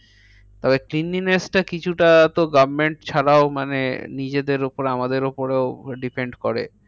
তবে cleanliness টা কিছুটা তো government ছাড়াও মানে নিজেদের উপরে আমাদের উপরেও depend করে।